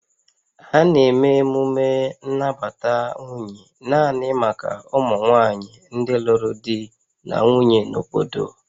A na-eme emume nnabata nwunye naanị maka ụmụ nwanyị ndị lụrụ di na nwunye na obodo